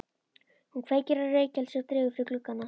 Hún kveikir á reykelsi og dregur fyrir gluggana.